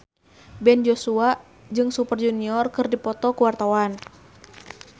Ben Joshua jeung Super Junior keur dipoto ku wartawan